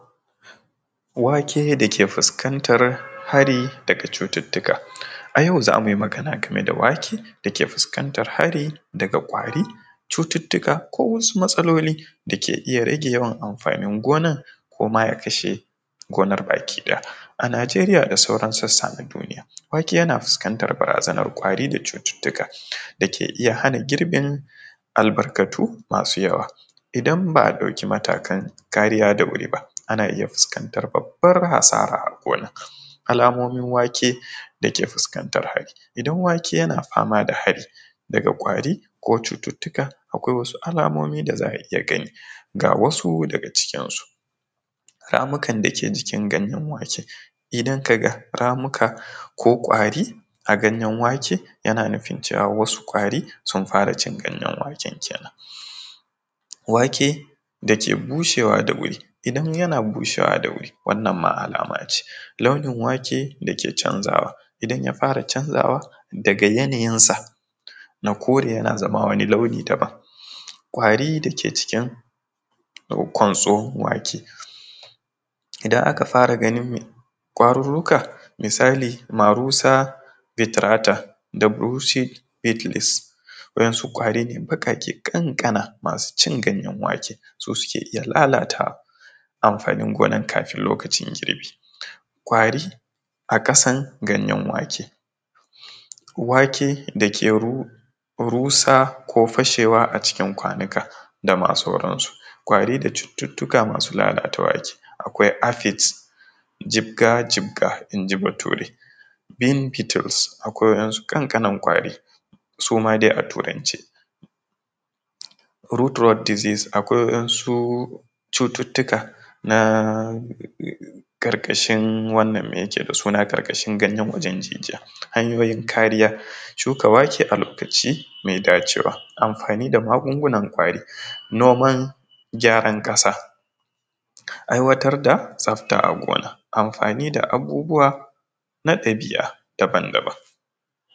Wake da ke fuskantar hari daga cututtuka, a yau zamu yi magana game da wake da ke fuskantar hari daga ƙwari cututtuka ko wasu matsaloli dake iya rage yawan amfanin gonan kuma ya kashe gonar baki ɗaya, a Nijeriya da sauran sassa na duniya wake yana fuskantar barazanar ƙwari da cututtuka da ke iya hana girbin albarkatu masu yawa idan ba a ɗauki matakan kariya da wuri ba ana iya fuskantar babbar asara a gona, alamomin wake da ke fuskantar hari idan wake yana fama da hari daga ƙwari ko cututuka akwai wasu alamomi da za a iya gani ga wasu daga cikin su, ramukan dake jikin ganyen waken idan ka ga ramuka ko ƙwari a ganyen wake yana nufin cewa wasu ƙwari sun fara cin ganyen waken kenan, wake dake bushewa da wuri idan wake yana bushewa da wuri wannan ma alama ce launin wake canzawa idan ya fara canzawa daga yanayin san a kore yana zama wani launi daban, ƙwari dake jikin kwantso wake idan aka fara ganin ƙwaruruka, misali marusa bitrata da buruce betlis waɗansu ƙwari ne baƙaƙe kankana masu cin ganyen wake, su suke iya lalatawa amfanin gonar kafin lokacin girbi ƙwari a ƙasan ganyen wake, wake da ke rusa ko fashewa a cikin kwanuka dama sauran su, ƙwari da cututtuka masu lalata wake akwai aphid, jibga-jibga inji bature beanbittles, akwai waɗansu kankanan ƙwari suma dai a turance root rod disease, akwai waɗansu cututtuka na karkashin wannan da yake da suna ƙarƙashin ganyen jijiya, hanyoyin kariya shuka wake a lokaci mai dacewa, amfani da magungunan ƙwari noman gyaran ƙasa aiwatar da tsafta agona amfani da abubuwa na dabi’a daban daban.